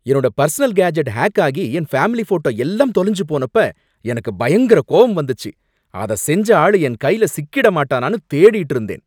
என்னோட personal gadget hack ஆகி என் ஃபேமிலி போட்டோ எல்லாம் தொலைஞ்சு போனப்ப எனக்கு பயங்கர கோவம் வந்துச்சு, அத செஞ்ச ஆளு என் கையில சிக்கிட மாட்டானானு தேடிட்டு இருந்தேன்.